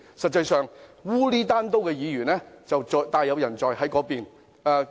實際上，糊裏糊塗的議員大有人在，就坐在那邊。